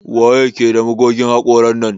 Waye ke da magogin hakoran nan?